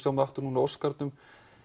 aftur núna á Óskarnum